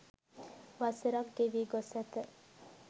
වසර ක් ගෙවී ගොස් ඇත